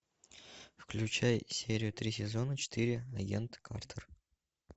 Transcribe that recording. включай серию три сезона четыре агент картер